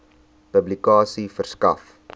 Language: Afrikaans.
publikasie verskaf